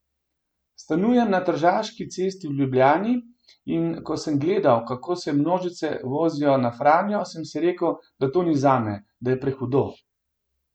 Stanujem na Tržaški cesti v Ljubljani in ko sem gledal, kako se množice vozijo na Franjo, sem si rekel, da to ni zame, da je prehudo.